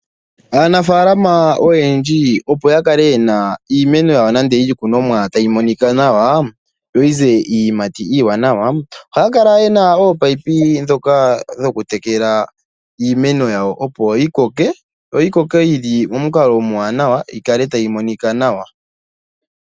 Aanafaalama oyendji, opo yakale yena iimeno nenge iikunomwa yawo tayi monika nawa yo oyize iiyimati iiwanawa ohaya kala yena oopayipi dhoka dhokutekela iimeno yawo, opo yikoke yili momukalo omuwanawa, yikale tayi monika nawa.